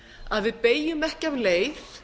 að við beygjum ekki af leið